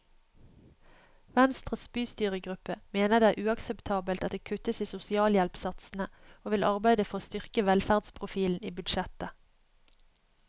Venstres bystyregruppe mener det er uakseptabelt at det kuttes i sosialhjelpsatsene og vil arbeide for å styrke velferdsprofilen i budsjettet.